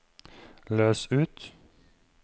løs ut